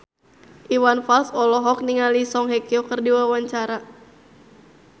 Iwan Fals olohok ningali Song Hye Kyo keur diwawancara